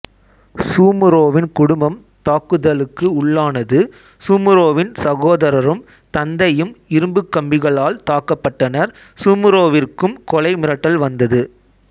சூமுரோவின் குடும்பம் தாக்குதலுக்கு உள்ளானது சூமுரோவின் சகோதரரும் தந்தையும் இரும்பு கம்பிகளால் தாக்கப்பட்டனர் சூமுரோவிற்கும் கொலை மிரட்டல் வந்தது